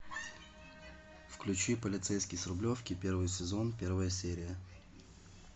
включи полицейский с рублевки первый сезон первая серия